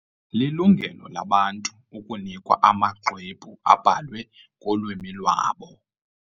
Lilungelo labantu ukunikwa amaxwebhu abhalwe ngolwimi lwabo.